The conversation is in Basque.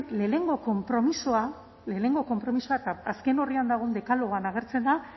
lehenengo konpromisoa lehenengo konpromisoa eta azken orrian dagoen dekalogoan agertzen da